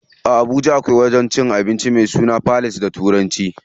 A Habuja akwai wajen cin abincin me sunan The place da turanci.